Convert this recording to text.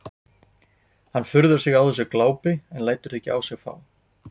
Hann furðar sig á þessu glápi en lætur það ekki á sig fá.